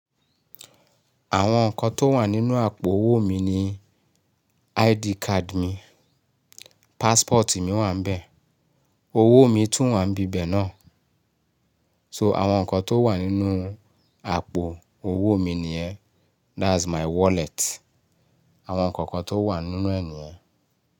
Àwọn nǹkan tó wà nínú àpò owó mi ni ID card mi, passport mi wà níbẹ̀, owó mi tún wà n bí bẹ̀ náà. So àwọn nǹkan tó wà nínú àpò owó mi nìyẹn. That's my wallet. Àwọn nǹkan kan tó wà nínú ẹ̀ nìyẹn.